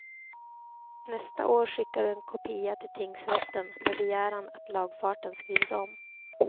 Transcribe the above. Nästa år skickar du en kopia till tingsrätten, med begäran att lagfarten skrivs om.